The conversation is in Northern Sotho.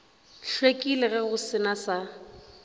hlwekile go se na sa